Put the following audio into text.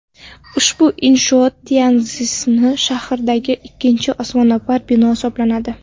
Ushbu inshoot Tyanszin shahridagi ikkinchi osmono‘par bino hisoblanadi.